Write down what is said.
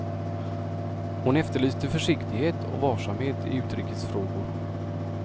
Hon efterlyste försiktighet och varsamhet i utrikesfrågor.